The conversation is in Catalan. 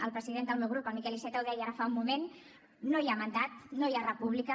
el president del meu grup el miquel iceta ho deia ara fa un moment no hi ha mandat no hi ha república